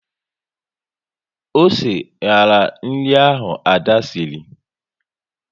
Osé nyara nri ahụ Ada sịrị